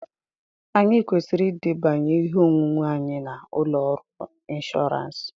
Anyị kwesịrị edebanye ihe onwunwe anyị na ụlọ ọrụ inshọọransi,